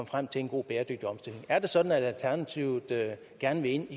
frem til en god bæredygtig omstilling er det sådan at alternativet gerne vil ind